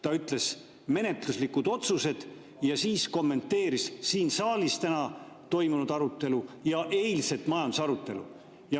Ta ütles menetluslikud otsused ja siis kommenteeris siin saalis täna toimunud arutelu ja eilset majandusarutelu.